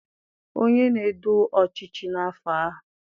onye na-edu ọchịchị n'afọ ahụ.